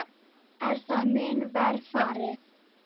Er það mun verr farið.